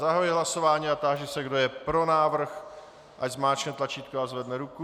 Zahajuji hlasování a táži se, kdo je pro návrh, ať zmáčkne tlačítko a zvedne ruku.